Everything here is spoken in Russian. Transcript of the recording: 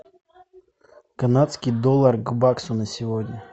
канадский доллар к баксу на сегодня